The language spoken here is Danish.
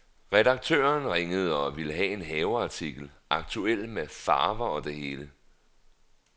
Redaktøren ringede og ville ha en haveartikel, aktuel med farver og det hele.